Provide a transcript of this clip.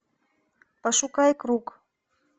пошукай круг